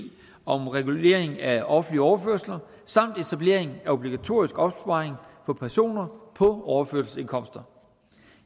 om regulering af offentlige overførsler samt etablering af obligatorisk opsparing for personer på overførselsindkomster